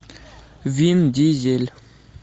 вин дизель